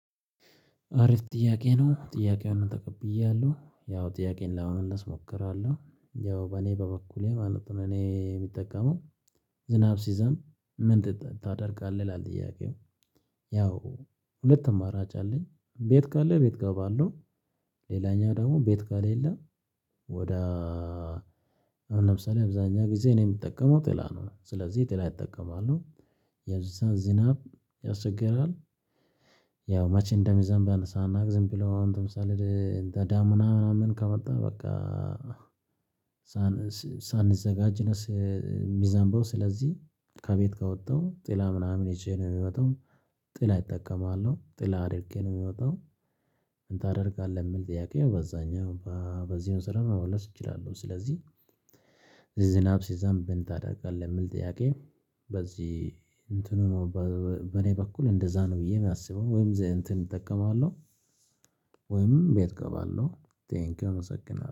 አሪፍ ጥያቄ ነው ጥያቄውን ተቀብያለሁ ያው ጥያቄውን ለመመለስ እሞክራለሁ ያው በኔ በበኩሌ ማለት ነው እኔ የምጠቀመው። ዝናብ ሲዘንብ ምን ታደርጋለህ? ይላል ጥያቄው ያው ሁለት አማራጭ አለኝ ቤት ካለ ቤት ገባለው። ሌላኛው ደግሞ ቤት ከሌለ ወደ አሁን ለምሳሌ አብዛኛ ጊዜ እኔ የምጠቀመው ጥላ ነው። ስለዚህ ጥላ እጠቀማለው። የዛን ዝናብ ያስቸግራል። ያው መቼ እንደሚዘንብ ሳናቅ ዝም ብሎ አሁን ለምሳሌ ዳመና ምናምን ከወጣ በቃ። ሳንዘጋጅ የሚዘንበው ስለዚህ ከቤት ከወጣው ጥላ ምናምን ይዤ ነው የምወጣው። ጥላ እጠቀማለሁ ጥላ አድርጌ ነው የምወጣው። ምን ታደርጋለህ? የሚል ጥያቄ በዛኛው በዚህ መሰረት መመለስ እችላለሁ። ስለዚህ ዝናብ ሲዘንብ ምን ታደርጋለህ የሚል ጥያቄ? በዚህ እንትኑ ነው። በኔ በኩል እንደዛ ነው ብዬ የማስበው ወይም እንትን እጠቀማለሁ። ወይም ቤት እገባለሁ። ቴንኪው እመሰግናለሁ